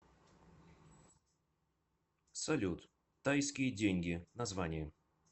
салют тайские деньги название